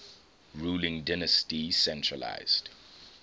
ruling dynasty centralised